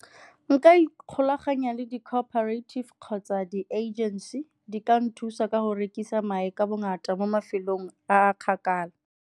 Nka ikgolaganya le di-cooperative kgotsa di-agency di ka nthusa ka go rekisa mae ka bongata mo mafelong a a kgakala.